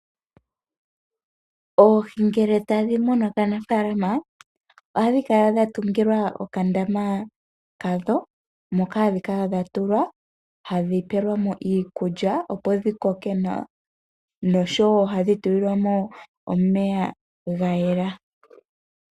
Oohi ngele tadhi munwa kaanafalama ohadhi kala dha tungilwa okandama kadho moka hadhi kala dha tulwa hadhi pelwa mo iikulya, opo dhi koke nawa nosho wo ohadhi tulilwa mo omeya ga yela.